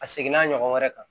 A seginna ɲɔgɔn wɛrɛ kan